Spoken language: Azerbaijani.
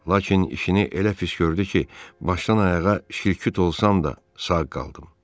Lakin işini elə pis gördü ki, başdan-ayağa şil-küt olsam da, sağ qaldım.